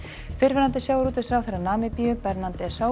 fyrrverandi sjávarútvegsráðherra Namibíu Bernhard